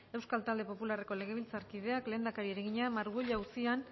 euskal talde popularreko legebiltzarkideak lehendakariari egina margüello auzian